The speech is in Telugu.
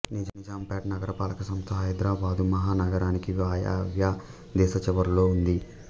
నిజాంపేట్ నగరపాలక సంస్థ హైదరాబాదు మహానగరానికి వాయవ్య దిశ చివరలో ఉంది